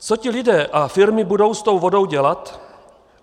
Co ti lidé a firmy budou s tou vodou dělat?